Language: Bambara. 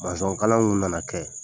kalanw na na kɛ.